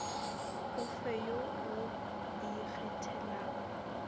o fe yo o ikgethelago